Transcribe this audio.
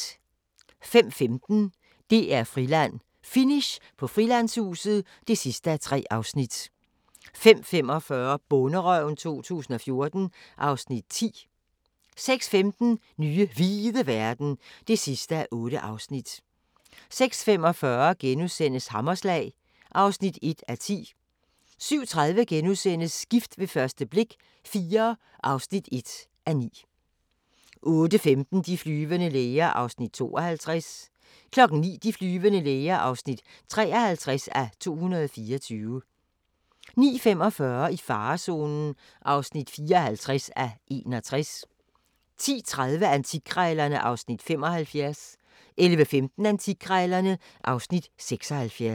05:15: DR-Friland: Finish på Frilandshuset (3:3) 05:45: Bonderøven 2014 (Afs. 10) 06:15: Nye hvide verden (8:8) 06:45: Hammerslag (1:10)* 07:30: Gift ved første blik – IV (1:9)* 08:15: De flyvende læger (52:224) 09:00: De flyvende læger (53:224) 09:45: I farezonen (54:61) 10:30: Antikkrejlerne (Afs. 75) 11:15: Antikkrejlerne (Afs. 76)